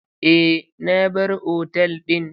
Eh na bar otal din.